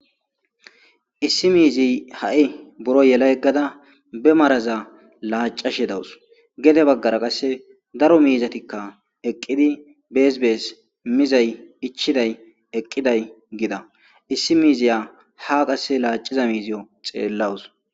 Issi miizi ha'i buro yela yeggada be maraza laacashe dawus gede baggara qasse daro miizatikka eqqidi beesbees mizay ichchiday eqqiday gida issi miizaya ha qasse laaciza miiziyo xeellawus.